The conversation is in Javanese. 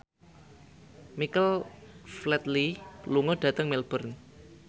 Michael Flatley lunga dhateng Melbourne